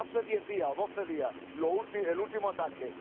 hace diez o doce días, el último ataque.